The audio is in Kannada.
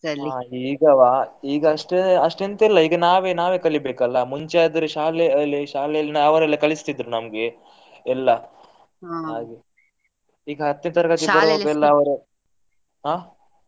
ಹಾ ಈಗವಾ ಈಗ ಅಷ್ಟು ಎಂತ ಇಲ್ಲ ಈಗ ನಾವೇ ನಾವೇ ಕಲಿಬೇಕಲ್ಲ. ಮುಂಚೆ ಆದ್ರೆ ಶಾಲೆಯಲ್ಲಿ, ಶಾಲೆಯಲ್ಲಿ ಅವರೆಲ್ಲ ಕಲಿಸ್ತಿದ್ರು ನಮ್ಗೆ ಎಲ್ಲಾ ಹಾಗೆ ಈಗ ಹತ್ತನೇ ತರಗತಿ ಎಲ್ಲಾ ಅವರೇ ಆ?